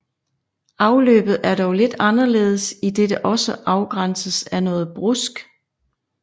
Afløbet er dog lidt anderledes idet det også afgrænses af noget brusk